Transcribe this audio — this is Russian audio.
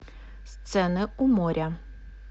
сцены у моря